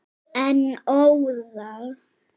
En óðal.